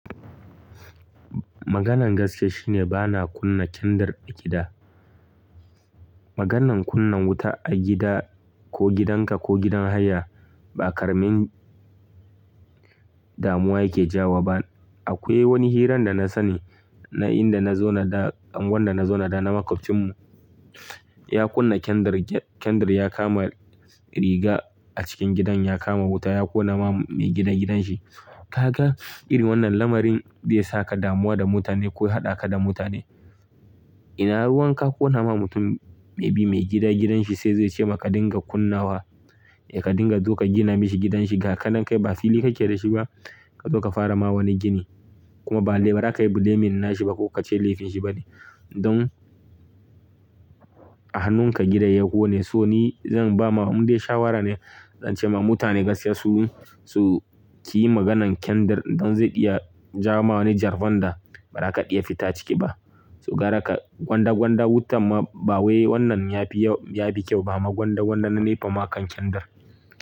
Maganar gaskiya shi ne bana kunna kyandir a gida. Maganar kunna wuta a gida ko gidanka ko gidan haya ba ƙaramin damuwa yake jawo ba. Akwai wani hirar da na sani na inda na zauna da anguwar na zauna da na maƙwabcinmu ya kunna kyandir, kyandir ya kama riga a cikin gidan, ya kama wuta ya ƙona wa mai gida gidanshi. Kaga irin wannan lamarin zai sa ka damuwa da mutane ko ya haɗa ka da mutane. Ina ruwan ka ƙona ma mutum may be mai gida gidan shi sai yazo ya ce ma ka dinga kunnawa, ka dinga zo ka gina mishi gidan shi. Ga ka nan kai ba fili kake da shi ba, ka zo ka fara ma wani gini kuma bale ba zaka yi blaming nashi ba ko ka ce laifin shi ba ne. Don a hannunka gidan ya ƙone. So ni zan ba ma in dai shawara ne, zan ce ma mutane gaskiya su, su ki yi maganan kyandir don zai iya ja ma wani jarfan da ba za ka iya fita ciki ba. To gara ka gwanda-gwanda wutan ma ba wai wannan ya fi, ya fi kyau ba amma gwanda-gwanda na NEPA ma a kan kyandir.